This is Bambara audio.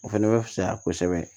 O fɛnɛ bɛ fisaya kosɛbɛ